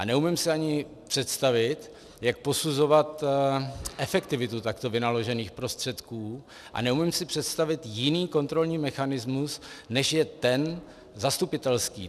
A neumím si ani představit, jak posuzovat efektivitu takto vynaložených prostředků a neumím si představit jiný kontrolní mechanismus, než je ten zastupitelský.